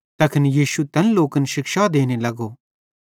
तैखन यीशु तैन लोकन शिक्षा देने लगो